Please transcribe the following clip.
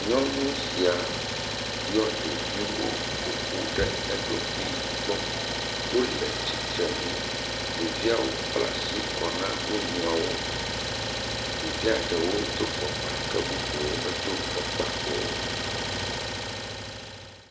Nyɔnu sia yɔ ɖeviwo ƒoƒu ɖe eɖokui gbɔ. Wole tsitrenu. Ɖeviawo kpla asi kɔ na wo nɔeawo. Ɖevia ɖewo do fɔkpa ke bubuwo medo fɔkpa o.